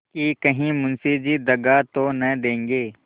कि कहीं मुंशी जी दगा तो न देंगे